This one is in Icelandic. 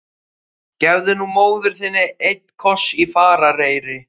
Gefðu nú móður þinni einn koss í farareyri!